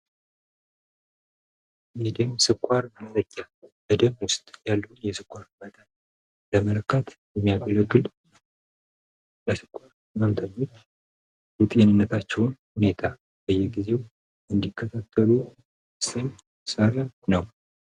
የደም ስኳር መለኪያ በደም ውስጥ ያለን የስኳር መጠን ለመለካት የሚያገለግል ለስኳር ህመምተኞች የጤንነታቸውን ሁኔታ በየጊዜው እንዲከታተሉ ወሳኝ መሳሪያ ነው።